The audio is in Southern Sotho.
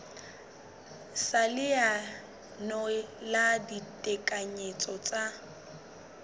sa leano la ditekanyetso tsa